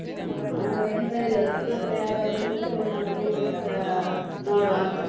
ನಾವು ಎಂತ ಇಲ್ಲ, ನಿಮ್ಮತ್ರ ಯಾವುದಾದ್ರೂ special ಏನಾದ್ರೂ ಇದ್ರೆ ಆ ನೋಡುವ ಅಂತ.